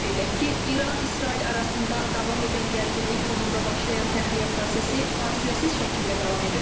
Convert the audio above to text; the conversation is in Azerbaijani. Qeyd edək ki, İran-İsrail arasında davam edən gərginlik fonunda başlayan təxliyə prosesi fasiləsiz şəkildə davam edir.